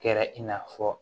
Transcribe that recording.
Kɛra i n'a fɔ